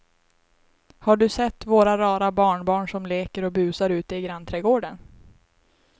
Har du sett våra rara barnbarn som leker och busar ute i grannträdgården!